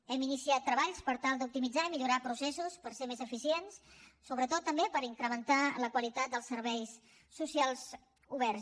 hem iniciat treballs per tal d’optimitzar i millorar processos per ser més eficients sobretot també per incrementar la qualitat dels serveis socials oberts